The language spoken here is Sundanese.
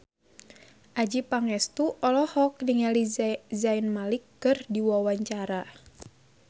Adjie Pangestu olohok ningali Zayn Malik keur diwawancara